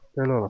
Belə olub.